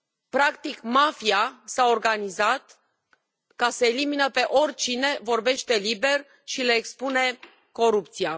Practic, mafia s a organizat ca să elimine pe oricine vorbește liber și le expune corupția.